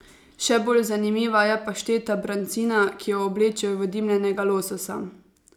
Še bolj zanimiva je pašteta brancina, ki jo oblečejo v dimljenega lososa.